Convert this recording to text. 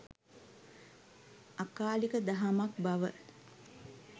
අකාලික දහමක් බව